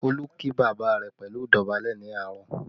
Olú kí bàbá rẹ̀ pẹ̀lú idobale ní àárọ̀